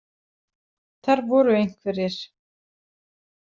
Þar voru einhverjir.